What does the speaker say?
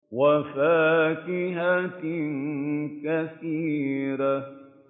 وَفَاكِهَةٍ كَثِيرَةٍ